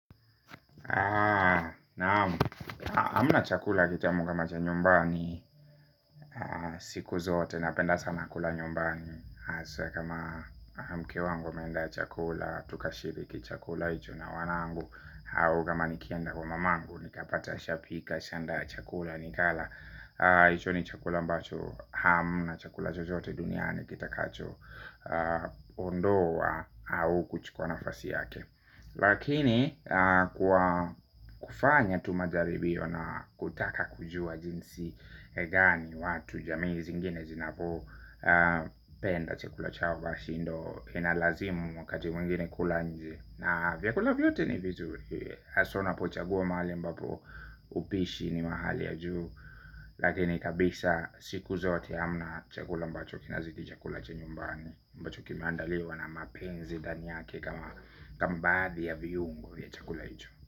Naam hamna chakula kitamu kama cha nyumbani siku zote napenda sana kula nyumbani. Kama mwanamke wangu ameanda chakula, tukashiriki chakula hicho na wanangu au kama nikienda kwa mamangu, nikapata asha pika asha anda chakula nikala hicho ni chakula ambacho hamna chakula chochote duniani kitakacho ondoa au kuchukuwa nafasi yake. Lakini kwa kufanya tu majaribiyo na kutaka kujua jinsi gani watu jamii zingine zinapo penda chakula chao basi ndio inalazimu wakati mwingine kula inje na vyakula vyote ni vizuri haswa unapo chagua mahali ambapo upishi ni mahali ya juu. Lakini kabisa siku zote hamna chakula ambacho kina zidi chakula cha nyumbani ambacho kime andaliwa na mapenzi ndani yake kama baadhi ya viungo ya chakula hicho.